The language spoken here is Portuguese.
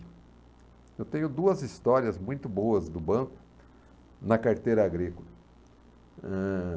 Eu tenho duas histórias muito boas do banco na carteira agrícola. Eh...